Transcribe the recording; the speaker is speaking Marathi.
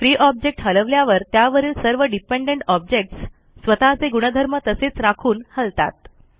फ्री ऑब्जेक्ट हलवल्यावर त्यावरील सर्व डिपेंडंट ऑब्जेक्टस स्वतःचे गुणधर्म तसेच राखून हलतात